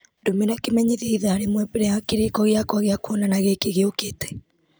ndũmĩra kĩmenyithia ithaa rĩmwe mbere ya kĩrĩko gĩakwa gĩa kwonana gĩkĩ gĩũkĩte